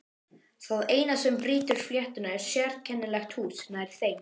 Það eina sem brýtur fletina er sérkennilegt hús nær þeim.